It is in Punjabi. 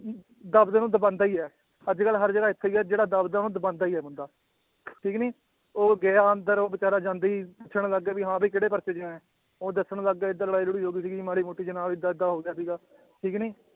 ਦਸ ਦਿਨ ਉਹਨੂੰ ਦਬਾਉਂਦਾ ਹੀ ਹੈ ਅੱਜ ਕੱਲ੍ਹ ਹਰ ਜਗ੍ਹਾ ਹੀ ਹੈ ਜਿਹੜਾ ਦੱਬਦਾ ਉਹਨੂੰ ਦਬਾਉਂਦਾ ਹੀ ਹੈ ਬੰਦਾ ਠੀਕ ਨੀ ਉਹ ਗਿਆ ਅੰਦਰ ਉਹ ਬੇਚਾਰਾ ਜਾਂਦਾ ਹੀ ਪੁੱਛਣ ਲੱਗ ਗਿਆ ਵੀ ਹਾਂ ਕਿਹੜੇ ਪਰਚੇ 'ਚ ਆਇਆ, ਉਹ ਦੱਸਣ ਲੱਗ ਗਿਆ ਏਦਾਂ ਲੜਾਈ ਲੜੂਈ ਹੋ ਗਈ ਸੀਗੀ ਮਾੜੀ ਮੋਟੀ ਵੀ ਹਾਂ ਏਦਾਂ ਏਦਾਂ ਹੋ ਗਿਆ ਸੀਗਾ ਠੀਕ ਨੀ